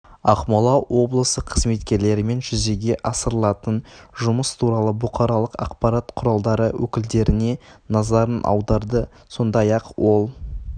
ақмола облысы қызметкерлерімен жүзеге асырылатын жұмыс туралы бұқаралық ақпарат құралдары өкілдеріне назарын аударды сондай-ақ ол